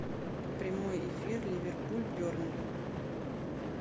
прямой эфир ливерпуль бернли